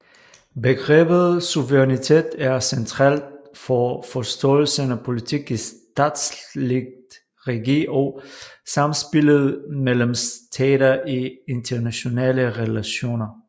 Begrebet suverænitet er centralt for forståelsen af politik i statsligt regi og samspillet mellem stater i internationale relationer